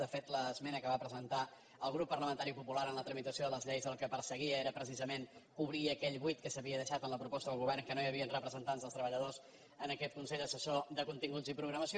de fet l’esmena que va presentar el grup parlamentari popular en la tramitació de les lleis el que perseguia era precisament cobrir aquell buit que s’havia deixat en la proposta del govern que no hi havien representants dels treballadors en aquest consell assessor de continguts i programació